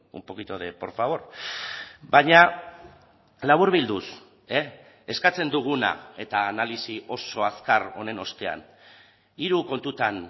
un poquito de por favor baina laburbilduz eskatzen duguna eta analisi oso azkar honen ostean hiru kontutan